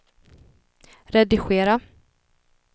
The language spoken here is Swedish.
redigera